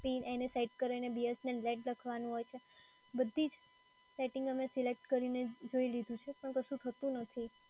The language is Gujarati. એને સેટ કરીને BSNL નેટ લખવાનું હોય છે, બધી જ સેટિંગ અમે સિલેક્ટ કરીને જોઈ લીધું છે, પણ કશું થતું નથી.